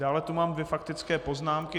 Dále tu mám dvě faktické poznámky.